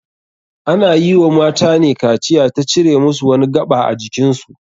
Ana yi wa matane kaciya ta cire musu wani gaɓa ajikin su.